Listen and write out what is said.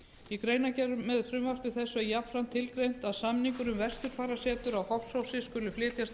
í greinargerð með frumvarpi þessu er jafnframt tilgreint að samningur um vesturfarasetur á hofsósi skuli flytjast